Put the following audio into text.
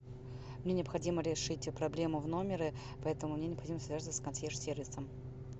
мне необходимо решить проблему в номере поэтому мне необходимо связаться с консьерж сервисом